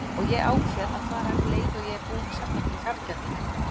Og ég ákveð að fara um leið og ég er búin að safna fyrir fargjaldinu.